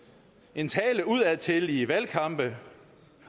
en tale udadtil i valgkampe